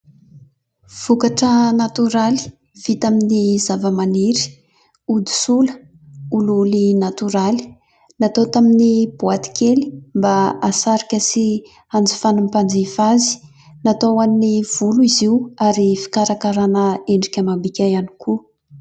vokatra natoraly vita amin'ny zavamaniry ody sola olioly natoraly natao tamin'ny boaty kely mba hasarika sy anjifan'ny mpanjifa azy natao ho an'ny volo izy io ary fikarakarana endrika amam-bika ihany koa